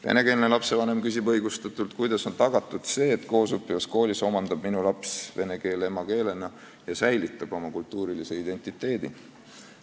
Venekeelne lapsevanem küsib õigustatult, kuidas on tagatud see, et selles koolis omandab tema laps vene keele emakeelena ja säilitab oma kultuurilise identiteedi.